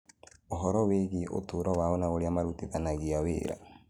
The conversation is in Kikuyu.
Ũhoro wĩgiĩ ũtũũro wao na ũrĩa marutithanagia wĩra.